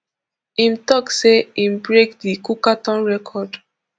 im tok say im break di cookathon record